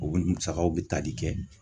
U bi musakaw bi tali kɛ